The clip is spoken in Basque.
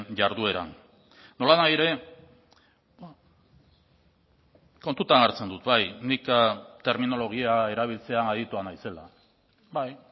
jardueran nolanahi ere kontutan hartzen dut bai nik terminologia erabiltzean aditua naizela bai